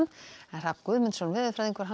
Hrafn Guðmundsson veðurfræðingur